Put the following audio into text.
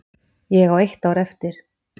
Ég á eitt ár eftir.